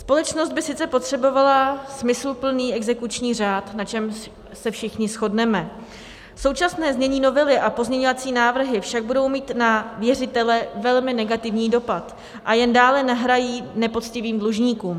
Společnost by sice potřebovala smysluplný exekuční řád, na čemž se všichni shodneme, současné znění novely a pozměňovací návrhy však budou mít na věřitele velmi negativní dopad a jen dále nahrají nepoctivým dlužníkům.